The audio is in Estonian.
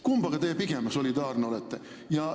Kummaga te pigem solidaarne olete?